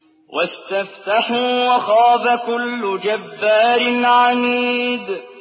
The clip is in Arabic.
وَاسْتَفْتَحُوا وَخَابَ كُلُّ جَبَّارٍ عَنِيدٍ